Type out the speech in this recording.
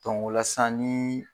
Dɔnku o la sisan ni